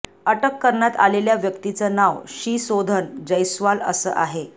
अटक करण्यात आलेल्या व्यक्तीचं नाव शिसोधन जैस्वाल असं आहे